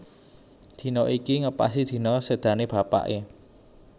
Dina iku ngepasi dina sédané bapaké